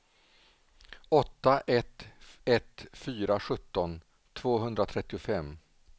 åtta ett ett fyra sjutton tvåhundratrettiofem